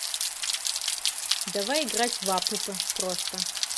давай играть в апп просто